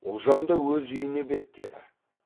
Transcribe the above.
ұлжан да өз үйіне беттеді